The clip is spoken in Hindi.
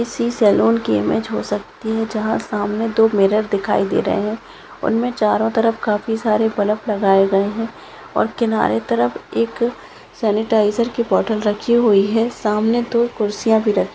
किसी सलून की इमेज हो सकती है जहा सामने दो मिरर दिखाई दे रहे है उनमे चारो तरफ काफी सारे बलब लगाये गए है और किनारे तरफ एक सानिटीझर की बोतल रखी हुई है सामने दो कुर्सिया भी रखी--